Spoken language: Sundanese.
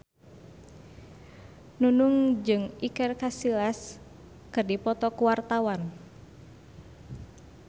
Nunung jeung Iker Casillas keur dipoto ku wartawan